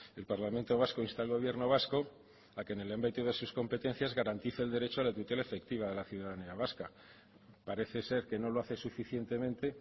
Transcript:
el parlamento vasco insta al gobierno vasco a que en el ámbito de sus competencias garantice el derecho a la tutela efectiva de la ciudadanía vasca parece ser que no lo hace suficientemente